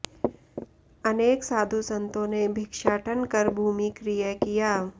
अनेक साधु संतो ने भिक्षाटन कर भूमि क्रय किया